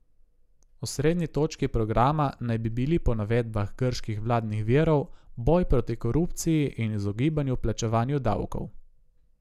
Osrednji točki programa naj bi bili po navedbah grških vladnih virov boj proti korupciji in izogibanju plačevanju davkov.